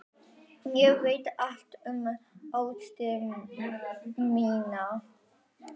Ég veit allt um ástir mínar.